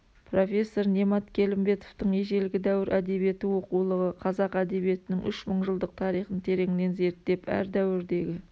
профессор немат келімбетовтың ежелгі дәуір әдебиеті оқулығы қазақ әдебиетінің үш мың жылдық тарихын тереңнен зерттеп әр дәуірдегі